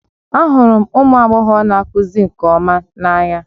Ahụrụ m ụmụ agbọghọ na-akụzi nke ọma n'anya